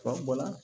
Fan bɔla